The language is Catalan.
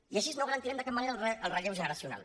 i així no garantirem de cap manera el relleu generacional